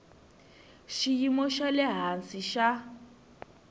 xiyimo xa le hansi xa